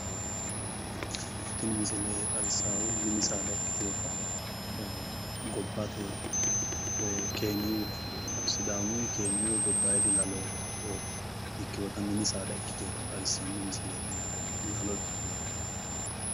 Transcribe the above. Tini misile xawissaahu mini saada ikkitiwota gobbate woyi keeniyu sidaamuyi keeniyu woyi gobbayidi lalo ikkiwota mini saada ikkitiwota xawissanno misileeti yaate lalo ikkitiwota.